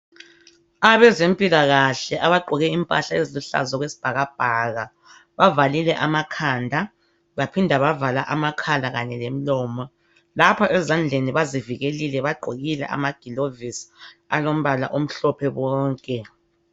Abezempilakahle abagqoke impahla eziluhlaza okwesibhaka bhaka bavalile ama khanda baphinda bavala amakhala kanye lemilomo lapha ezandleni bazivikelile bagqokile ama gilovisi alombala omhlophe bonke.